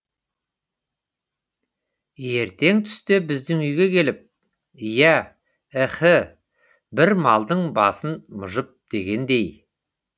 ертең түсте біздің үйге келіп иә іһі бір малдың басын мұжып дегендей